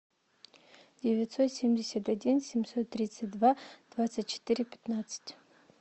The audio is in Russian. девятьсот семьдесят один семьсот тридцать два двадцать четыре пятнадцать